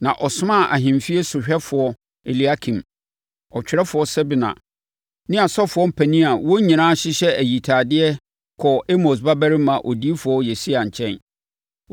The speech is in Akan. Na ɔsomaa ahemfie sohwɛfoɔ Eliakim, ɔtwerɛfoɔ Sebna ne asɔfoɔ mpanin a wɔn nyinaa hyehyɛ ayitadeɛ kɔɔ Amos babarima odiyifoɔ Yesaia nkyɛn.